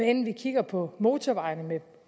enten vi kigger på motorvejene med